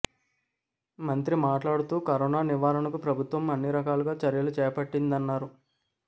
మంత్రి మాట్లాడుతూ కరోనా నివారణకు ప్రభుత్వం అన్ని రకాలుగా చర్యలు చేపట్టిందన్నారు